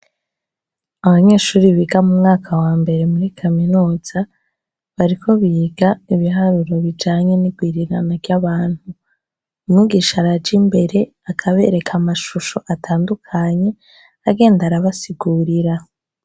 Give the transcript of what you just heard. Abanyeshure biga mu mwaka wa mbere muri kaminuza, bariko biga ibiharuro bijanye n'igwirirana ry'abantu. Mwigisha araja imbere akabereka amashusho atandukanye, agenda arabasigurira.